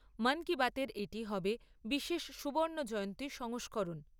মন কি বাত এর এটি হবে বিশেষ সুবর্ণ জয়ন্তী সংস্করণ।